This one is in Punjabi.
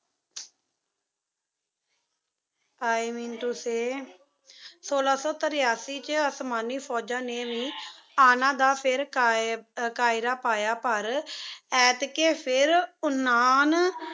ਇ ਮੇਂ ਤੋ ਸੀ ਸੋਲਾ ਸੋ ਤੇਰਾਸੀ ਵਿਚ ਓਸ੍ਮਾਨੀ ਫੋਜਾਂ ਨੀ ਵੇ ਅਨਾ ਦਾ ਫਿਰ੍ਕ਼ੈਰਾ ਪਾਯਾ ਪਰ